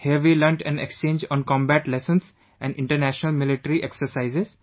Here we learnt an exchange on combat lessons & International Military exercises